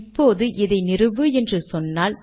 இப்போது இதை நிறுவு என்று சொன்னால்